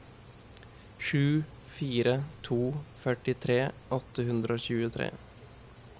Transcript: sju fire fire to førtitre åtte hundre og tjuetre